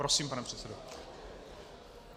Prosím, pane předsedo.